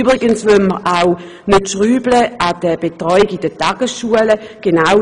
Übrigens wollen wir auch an der Betreuung in den Tagesschulen nicht herumschrauben.